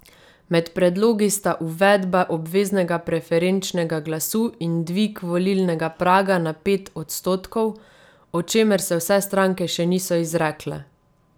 Med predlogi sta uvedba obveznega preferenčnega glasu in dvig volilnega praga na pet odstotkov, o čemer se vse stranke še niso izrekle.